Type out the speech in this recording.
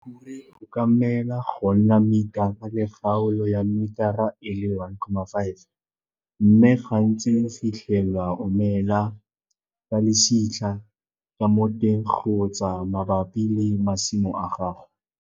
Mokhure o ka mela go nna metara le kgaolo ya metara e le 1,5 mme gantsi o fitlhelwa o mela ka lesitlha ka mo teng kgotsa mabapi le masimo a gago.